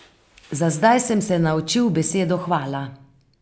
Za zdaj sem se naučil besedo hvala.